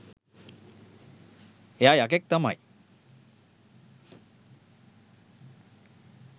එයා යකෙක් තමයි